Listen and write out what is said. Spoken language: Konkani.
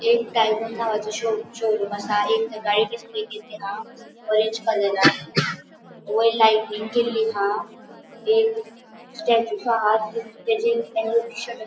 एक टायटन नावाचे शो शोरूम असा एक ऑरेंज कलरान वयर लाइटिंग केल्ली हा एक स्टॅचू हा ताचेर --